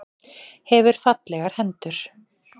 Hefur fallegar hendur.